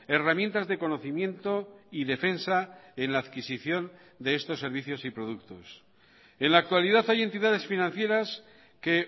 herramientas de conocimiento y defensa en la adquisición de estos servicios y productos en la actualidad hay entidades financieras que